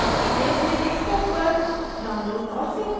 इसे अपने desktop पर download और सेव करें